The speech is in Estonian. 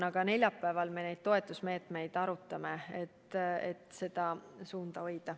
Aga neljapäeval me arutame toetusmeetmeid, et seda suunda hoida.